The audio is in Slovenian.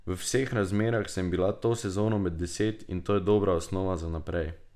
V vseh razmerah sem bila to sezono med deset in to je dobra osnova za naprej.